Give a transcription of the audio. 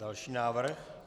Další návrh.